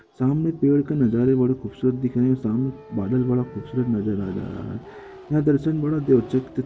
सामने पेड़ का नजारा बड़ा खूबसूरत दिख रहा है सामने बादल बड़ा खूबसूरत नजर आ रहा है यह दर्शन बड़ा--